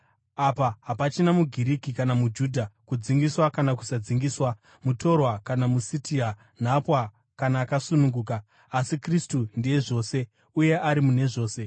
Apa hapachina muGiriki kana muJudha, kudzingiswa kana kusadzingiswa, mutorwa kana muSitia, nhapwa kana akasununguka, asi Kristu ndiye zvose, uye ari mune zvose.